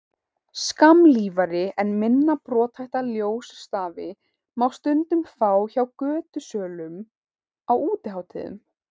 skammlífari en minna brothætta ljósstafi má stundum fá hjá götusölum á útihátíðum